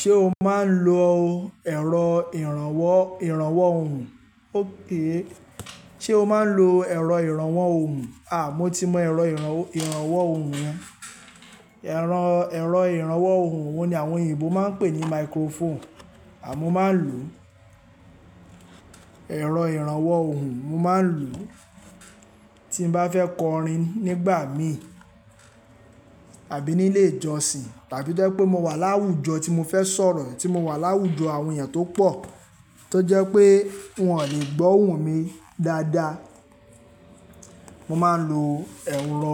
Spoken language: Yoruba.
Ṣé o máa ń lo ẹ̀rọ ìrànwọ́ ohùn? Ókay, ṣe o máa ń lo ẹ̀rọ ìrànwọ́ ohùn? Mo ti mọ ẹ̀rọ ìrànwọ́ ohùn. Ẹ̀rọ, ẹ̀rọ ìrànwọ́ ohùn wọ́n ní àwọn òyìnbó máa ń pè ní microphone. Àmọ́ máa ń lò ẹ̀rọ ìrànwọ́ ohùn, mo máa ń lò tí n bá fẹ́ kọrin nígbà mí àbí nílé ìjọsìn tàbí tó jẹ́ pé mo wà láwùjọ tí mo fẹ́ sọ̀rọ̀ è, tí mo wà láwùjọ àwọn èèyàn tó pọ̀ tó jẹ́ pé wọn ò le gbóhùn mi dáadáa. Mo máa ń lo ẹ̀rọ